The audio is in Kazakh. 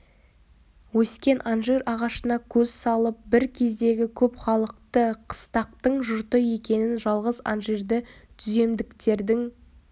өскен анжир ағашына көз салып бір кездегі көп халықты қыстақтың жұрты екенін жалғыз анжирды түземдіктердің